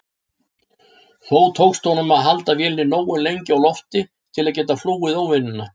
Þó tókst honum að halda vélinni nógu lengi á lofti til að geta flúið óvinina.